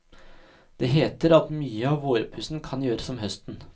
Det heter at mye av vårpussen kan gjøres om høsten.